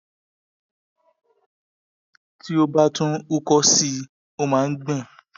tí ó bá tún uko si ó máa ń gbọn